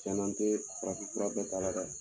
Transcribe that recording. Tiɲɛn na n tɛ farafin fura kɛ ta la dɛ